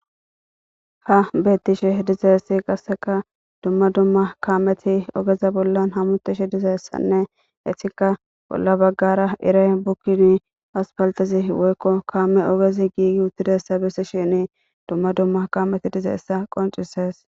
Ha betishe dizaysi qaseka duma duma kameti ogeza bolan hametishe dizaysa nne etika bola bagara iray bikini asphaltezi woyko kame ogezi gigiutizaysa besishin duma duma kameti dizaysa qonc'ses